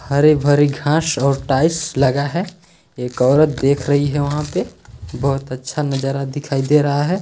हरे -भरे घास और टाइल्स लगा है एक औरत देख रही है वहाँ पे बहुत अच्छा नजारा दिखाई दे रहा है।